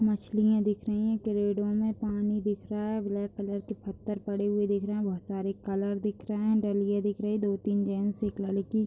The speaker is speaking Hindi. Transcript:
मछलियाँ दिख रही हैं। पेड़ों में पानी दिख रहा है। ब्लैक कलर के पत्थर पड़े हुए दिख रहे हैं। बहोत सारे कलर दिख रहे हैं। डलिए दिख रही हैंदो-तीन जेन्स एक लड़की --